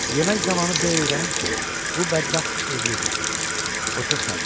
Yemək zamanı B öyrənir ki, bu bədbəxt evlidir.